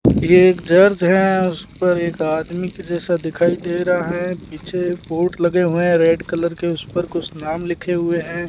ये एक चर्च है उस पर एक आदमी के जैसा दिखाई दे रहा है पीछे बोर्ड लगे हुए हैं रेड कलर के उस पर कुछ नाम लिखे हुए हैं।